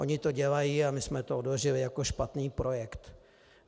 Oni to dělají a my jsme to odložili jako špatný projekt.